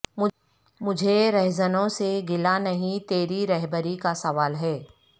مجھے رہزنوں سے گلہ نہیں تیری رہبری کا سوال ہے